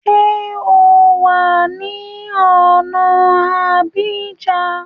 Ṣé o wà ní ọ̀na Abidjan?